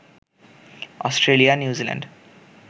Australia, New Zealand